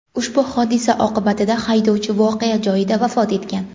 Ushbu hodisa oqibatida haydovchi voqea joyida vafot etgan.